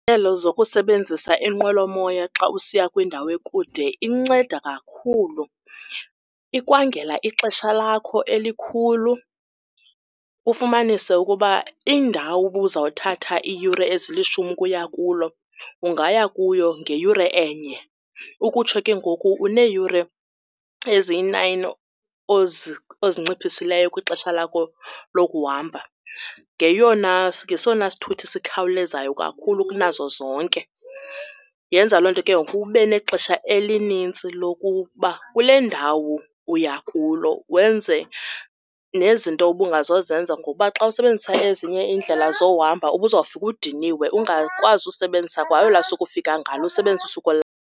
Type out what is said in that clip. zokusebenzisa inqwelomoya xa usiya kwindawo ekude inceda kakhulu, ikwangela ixesha lakho elikhulu, ufumanise ukuba indawo ubuzawuthatha iiyure ezilishumi ukuya kulo ungaya kuyo ngeyure enye. Ukutsho ke ngoku uneeyure eziyi-nine ozinciphisileyo kwixesha lakho lokuhamba. Ngeyona, ngesona sithuthi sikhawulezayo kakhulu kunazo zonke. Yenza loo nto ke ngoku ube nexesha elinintsi lokuba kule ndawo uya kulo wenze nezinto ubungazozenza ngoba xa usebenzisa ezinye iindlela zohamba ubuzofika udiniwe ungakwazi usebenzisa kwa olwaa suku ufika ngalo, usebenzise usuku .